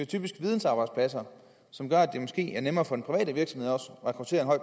typisk vidensarbejdspladser som gør at det måske er nemmere for den private virksomhed at rekruttere